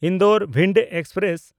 Indore Bhind express